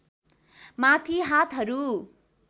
माथि हातहरू